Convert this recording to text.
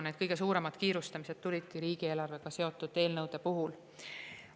Need kõige suuremad kiirustamised olidki riigieelarvega seotud eelnõude puhul.